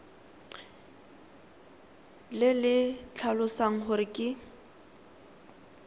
le le tlhalosang gore ke